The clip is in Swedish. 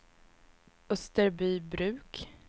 Österbybruk